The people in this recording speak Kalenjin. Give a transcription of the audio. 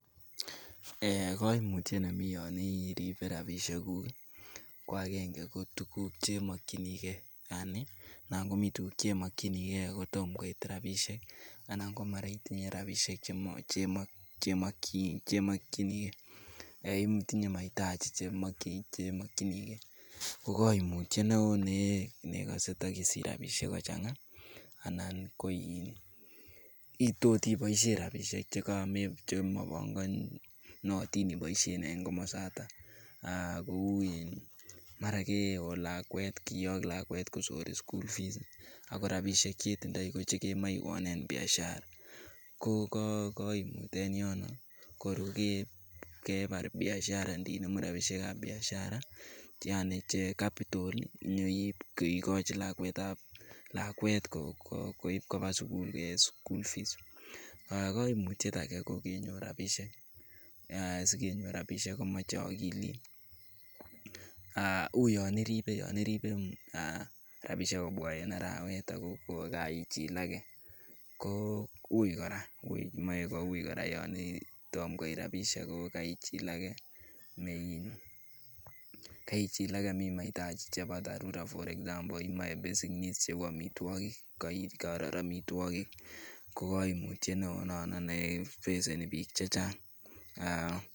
Kaimutyet nemi yon iribe rabisiekuk ko agenge ko tuguk Che mokyinigei anan komi tuguk Che mokyinigei kotom koit rabisiek anan ko mara metinye rabisiek Che mokyinigei anan komi mahitaji Che mokyingei ko koimutyet negose takisich rabisiek kochanga amun tot iboisien rabisiek Chekamabongonotin iboisien en komosata kou mara keon anan kiyok lakwet kosor school fees ago rabisiek Che ketindoi ko Che kemoe ionen Biashara ko koimut en yon ko kebar Biashara ininemu rabisiek ab Biashara Che capital inyoi Kochi lakwet koib koba sukul koik school fees kaimutyet age koui kenyor rabisiek asi kenyor rabisiek komoche akilit uu yon iribe rabisiek kobwa en arawet ago kaaichilake koui kora moe koui kora yon Tom koit rabisiek ako kaaichilake amun mahitaji chebo dharura kou yon imoche amitwogik yon koror ko koimutyet neo nefeceni bik Che Chang